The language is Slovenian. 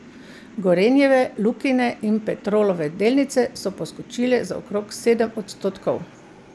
Gorenjeve, Lukine in Petrolove delnice so poskočile za okrog sedem odstotkov.